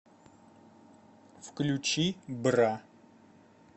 включи бра